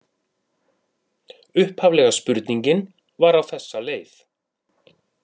Upphaflega spurningin var á þessa leið: